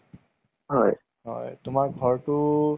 চাই কেনে বহুত ভাল লাগিলে। education ৰ উপৰত আছিল এইটো movies টো যে।